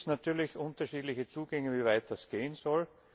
Da gibt es natürlich unterschiedliche Zugänge, wie weit das gehen soll.